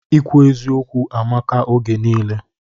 Ikwu eziokwu amaka oge nile